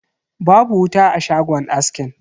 Babu wuta a shagon askin.